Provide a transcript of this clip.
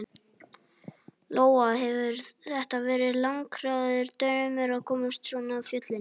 Lóa: Hefur þetta verið langþráður draumur að komast svona á fjöll?